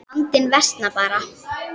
Vandinn versnar bara.